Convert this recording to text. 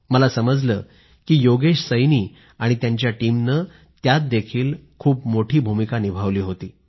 मला समजलं की योगेश सैनी आणि त्यांच्या टीमनं त्यातदेखील खूप मोठी भूमिका निभावली होती